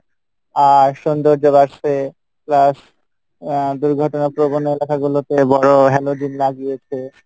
আহ সৌন্দর্য বাড়সে, plus আহ দুর্ঘটনার প্রবণতা গুলোতে বড় halogen লাগিয়েছে